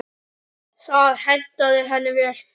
Það hentaði henni vel.